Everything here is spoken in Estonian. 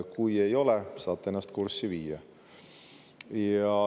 Kui ei ole, saate ennast kurssi viia.